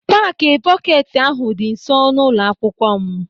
Paaki pọketi ahụ dị nsọ n'ụlọ akwụkwọ m.